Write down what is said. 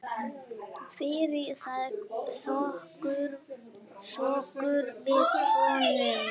Fyrir það þökkum við honum.